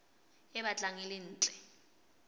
e batlang e le ntle